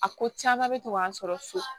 A ko caman bɛ to k'an sɔrɔ so